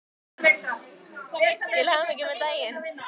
Til hamingju með daginn.